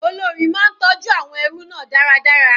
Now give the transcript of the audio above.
Olórí máa ń tọjú àwọn ẹrú náà dáradára.